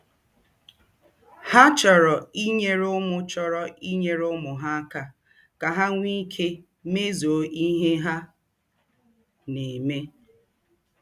Ha chọrọ inyere ụmụ chọrọ inyere ụmụ ha aka ka ha nwee ike imezu ihe ha na-eme.